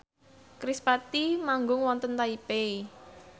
kerispatih manggung wonten Taipei